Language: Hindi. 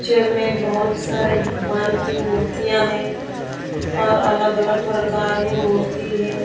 पिक्चर में बहुत सारे भगवान की मूर्तियां है और अलग अलग प्रकार की मूर्ति है।